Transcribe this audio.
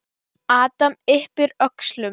Adam yppir öxlum.